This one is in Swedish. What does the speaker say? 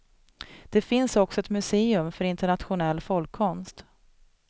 Det finns också ett museum för internationell folkkonst.